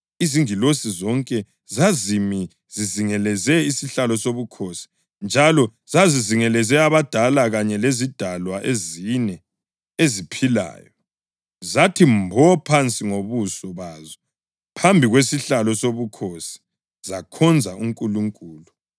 Izingilosi zonke zazimi zizingeleze isihlalo sobukhosi njalo zizingeleze abadala kanye lezidalwa ezine eziphilayo. Zathi mbo phansi ngobuso bazo phambi kwesihlalo sobukhosi zakhonza uNkulunkulu